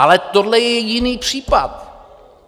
Ale tohle je jiný případ.